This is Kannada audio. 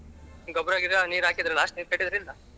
ಅಲ್ಲಿ ಗೊಬ್ಬರ ಗಿಬ್ಬರ ನೀರ್ ಹಾಕಿದರ last ನೀರ್ ಕಟ್ಟಿದ್ರಾ ಇಲ್ಲಾ?